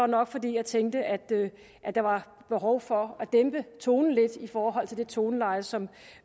nok fordi jeg tænkte at at der var behov for at dæmpe tonen lidt i forhold til det toneleje som